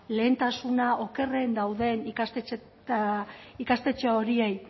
lehentasuna okerren dauden ikastetxe horiei